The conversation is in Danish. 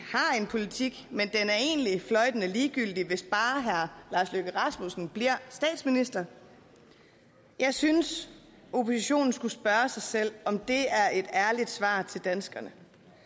en politik men den er egentlig fløjtende ligegyldig hvis bare herre lars løkke rasmussen bliver statsminister jeg synes oppositionen skulle spørge sig selv om det er et ærligt svar til danskerne